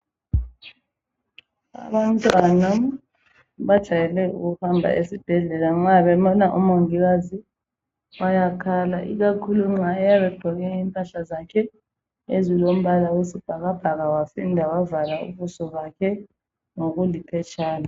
Abantwana bejwayele ukuhamba esibhedlela nxa bebona umongikazi bayakhala ikakhulu nxa eyabe egqoke impahla zakhe ezilombala wesibhakabhaka waphinda wavala ubuso bakhe ngokuliphetshana.